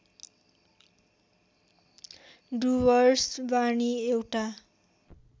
डुवर्स वाणी एउटा